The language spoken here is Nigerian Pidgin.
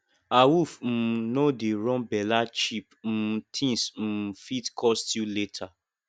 awoof um no dey run bella cheep um things um fit cost you later